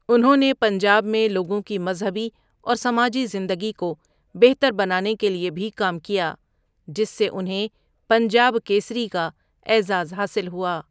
انہوں نے پنجاب میں لوگوں کی مذہبی اور سماجی زندگی کو بہتر بنانے کے لیے بھی کام کیا، جس سے انہیں پنجاب کیسری کا اعزاز حاصل ہوا۔